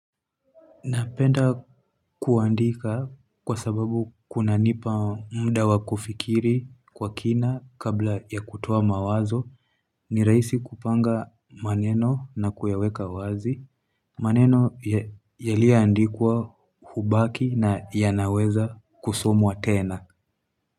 Napenda kuandika kwa sababu kuna nipa mda wakufikiri kwa kina kabla ya kutoa mawazo ni rahisi kupanga maneno na kuyaweka wazi, maneno ya liaandikwa hubaki na ya naweza kusomwa tena.